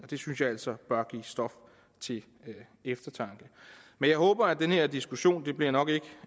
det synes jeg altså bør give stof til eftertanke men jeg håber at den her diskussion det bliver nok ikke